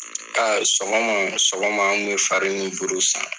Sɔgɔma sɔgɔma an kun mi fari ni buuru san.